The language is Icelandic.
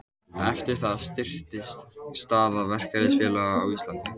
Eftir það styrktist staða verkalýðsfélaga á Íslandi.